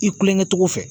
I kulonkɛ cogo fɛ